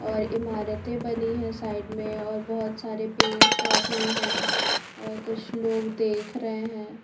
और इमारते बनी है साइड मे और बहुत सारे पेड़ पौधे है कुछ लोग देख रहे है।